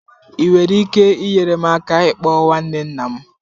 Ị nwere ike inyere m aka ịkpọ nwanne nna m?